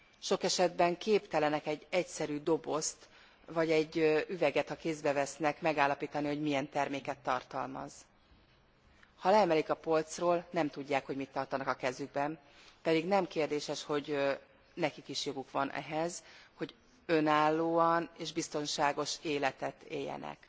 Sok esetben képtelenek egy egyszerű dobozt, vagy egy üveget, ha kézbe vesznek, megállapítani, hogy milyen terméket tartalmaz. Ha leemelik a polcról, nem tudják, hogy mit tartanak a kezükben, pedig nem kérdéses, hogy nekik is joguk van ahhoz, hogy önálló és biztonságos életet éljenek.